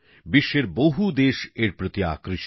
বিশ্বের বহু দেশ এর প্রতি আকৃষ্ট